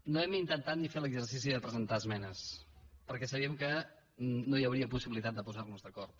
no hem intentat ni fer l’exercici de presentar esmenes perquè sabíem que no hi hauria possibilitat de posar nos d’acord